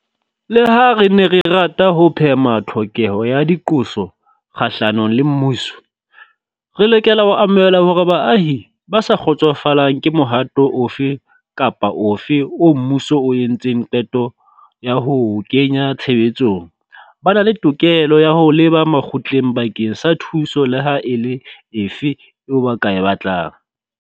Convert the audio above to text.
Leha re ne re rata ho phema tlhokeho ya diqoso kgahlanong le mmuso, re lokela ho amohela hore baahi ba sa kgotsofalang ke mohato ofe kapa ofe oo mmuso o entseng qeto ya ho o kenya tshebetsong ba na le tokelo ya ho leba makgotleng bakeng sa thuso leha e le efe eo ba e batlang.